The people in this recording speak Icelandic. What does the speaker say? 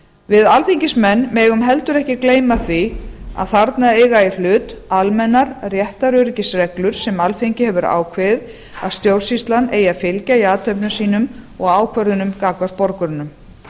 við alþingismenn megum heldur ekki gleyma því að þarna eiga í hlut almennar réttaröryggisreglur sem alþing hefur ákveðið að stjórnsýslan eigi að fylgja í athöfnum sínum og ákvörðunum gagnvart borgurunum